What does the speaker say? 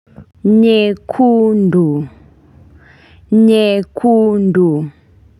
Nyekundu. Nyekundu.